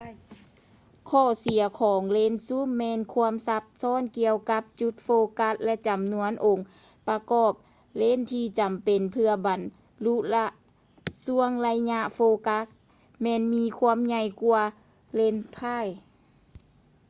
ຂໍ້ເສຍຂອງເລນຊູມ ແມ່ນຄວາມຊັບຊ້ອນກ່ຽວກັບຈຸດໂຟກັສ ແລະ ຈຳນວນຂອງອົງປະກອບເລນທີ່ຈຳເປັນເພື່ອບັນລຸລະຊ່ວງໄລຍະໂຟກັສແມ່ນມີຄວາມໃຫ່ຍກ່ວາເລນໄພຼມ໌ prime